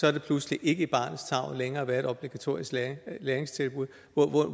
er det pludselig ikke i barnets tarv længere at være i et obligatorisk læringstilbud